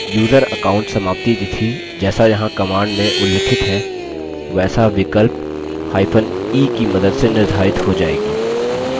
user account समाप्ति तिथि जैसा यहाँ command में उल्लिखित है वैसा विकल्प e की मदद से निर्धारित हो जाएगी